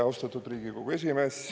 Austatud Riigikogu esimees!